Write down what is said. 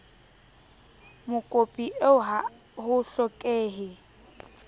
mokopi eo ha ho hlokehe